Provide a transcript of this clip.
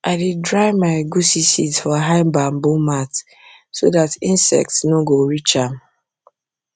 i dey dry my egusi seeds for high bamboo mat so that insects no go reach am